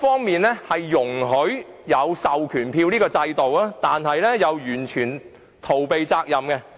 《條例》容許授權書制度，但又完全逃避監管的責任。